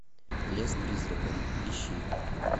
лес призраков ищи